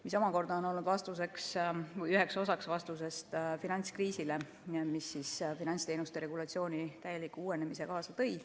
See omakorda on olnud üheks osaks vastusest finantskriisile, mis finantsteenuste regulatsiooni täieliku uuenemise kaasa tõi.